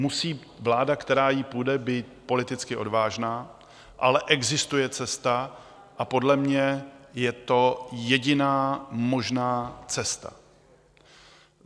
Musí vláda, která jí půjde, být politicky odvážná, ale existuje cesta a podle mě je to jediná možná cesta.